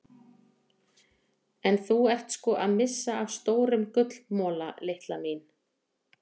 En þú ert sko að missa af stórum gullmola litla mín.